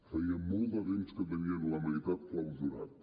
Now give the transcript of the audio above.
feia molt de temps que en tenien la meitat clausurat